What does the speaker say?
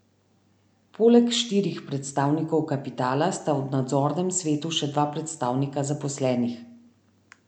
Poleg štirih predstavnikov kapitala sta v nadzornem svetu še dva predstavnika zaposlenih.